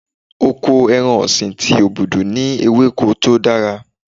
Oko ẹran ọ̀sìn ti Obudu ní ewéko tó dára.